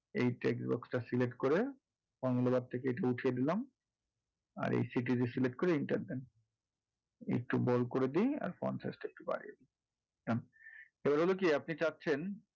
এই text box টা select করে formula bar থেকে এটা উঠিয়ে দিলাম আর এই city select করে enter দেন একটু bold করে দিন আর size টা একটু বাড়িয়ে দিন এবার হলো কি আপনি চাচ্ছেন,